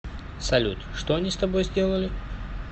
салют что они с тобой сделали